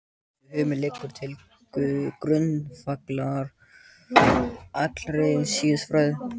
Þessi hugmynd liggur til grundvallar allri siðfræði.